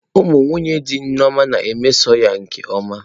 Ụmụ nwunye dị Nneoma na-emeso ya nke ọma.